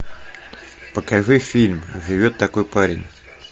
покажи фильм живет такой парень